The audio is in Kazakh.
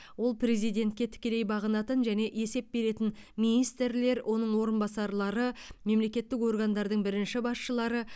ол президентке тікелей бағынатын және есеп беретін министрлер оның орынбасарлары мемлекеттік органдардың бірінші басшылары